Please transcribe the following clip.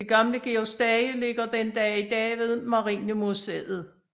Det gamle Georg Stage ligger den dag i dag ved Marinemuseet